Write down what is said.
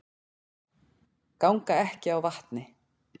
Ganga ekki á vatni